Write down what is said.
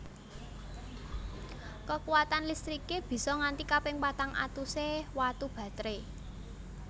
Kekuwatan listriké bisa nganti kaping patang atusé watu batré